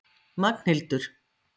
Magnhildur